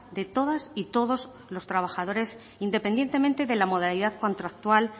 de todas y todos los trabajadores independientemente de la modalidad contractual